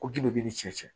Ko ji de b'i ni cɛ cɛ